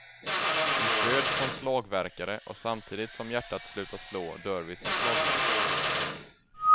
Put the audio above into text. Vi föds som slagverkare och samtidigt som hjärtat slutar slå dör vi som slagverkare.